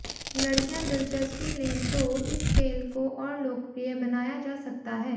लड़कियां दिलचस्पी लें तो इस खेल को और लोकप्रिय बनाया जा सकता है